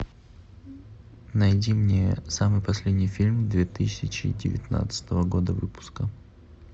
найди мне самый последний фильм две тысячи девятнадцатого года выпуска